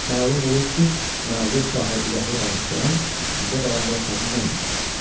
Məlum olur ki, məğlub şahı ürəkli danışdıran üstündə dayandığı xəzinə imiş.